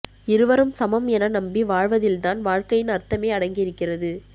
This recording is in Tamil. இருவரும் சமம் என நம்பி வாழ்வதில்தான் வாழ்க்கையின் அர்த்தமே அடங்கி இருக்கிறது